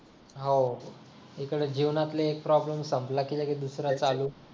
हो इकडे जीवनातला एक प्रॉब्लेम संपला की लगेच दुसरा चालू